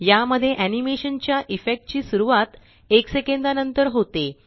या मध्ये एनीमेशनच्या इफेक्ट ची सुरवात एक सेकंदा नंतर होते